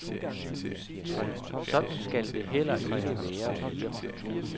Sådan skal det heller ikke være mere.